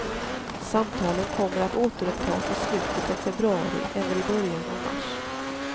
Samtalen kommer att återupptas i slutet av februari eller i början av mars.